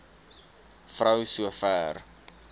vrou so ver